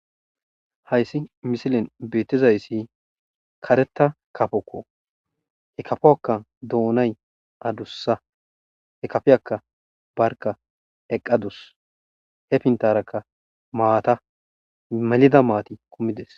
Hayssi missilen bettizaysi karetta kaafoko he kaafoka doonay addussa he kaafiyaka barkka eqqadussu he pinttarakke maata melida maati kumides.